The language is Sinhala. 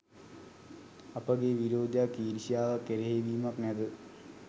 අපගේ විරෝධයක්, ඊර්ෂ්‍යාවක්, එරෙහිවීමක් නැත.